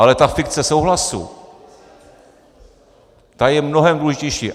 Ale ta fikce souhlasu, ta je mnohem důležitější.